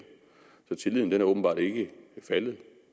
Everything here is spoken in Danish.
så tilliden er åbenbart ikke faldet